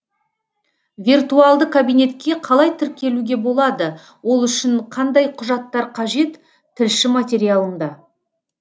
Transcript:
виртуалды кабинетке қалай тіркелуге болады ол үшін қандай құжаттар қажет тілші материалында